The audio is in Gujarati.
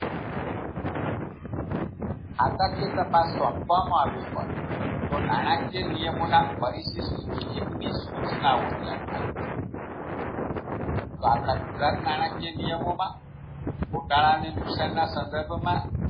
ખાતાકીય તપાસ સોંપવામાં આવી હોય તો નાણાકીય નિયમોં ના પરિશિષ્ટ તો આપણા ગુજરાત નાણાકીય નિયમોમાં ગોટાળા અને નુકસાનના સંદર્ભમાં